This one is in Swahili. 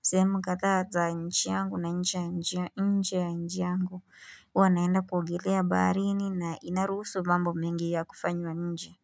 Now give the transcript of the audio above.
sehemu kadha za nchi yangu na nchi ya nje ya nchi yangu. Huwa naenda kuogelea baharini na inarusu mambo mengi ya kufanywa nje.